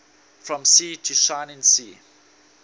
from sea to shining sea